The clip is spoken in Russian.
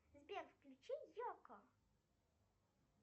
сбер включи елку